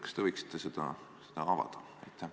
Kas te võiksite seda mõttekäiku avada?